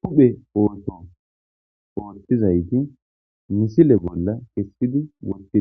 huphe ootto oottizayti misile bolla kessidi wottida